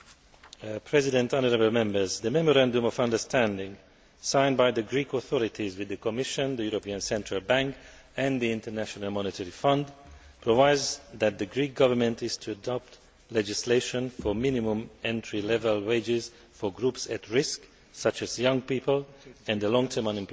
Mr President, honourable Members, the Memorandum of Understanding signed by the Greek authorities with the Commission, the European Central Bank and the International Monetary Fund provides that the Greek Government is to adopt legislation for minimum entry level wages for groups at risk, such as young people and the long term unemployed.